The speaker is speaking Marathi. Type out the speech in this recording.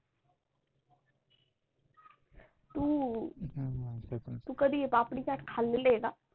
तू कधी पापडी चाट खाल्ली आहे का?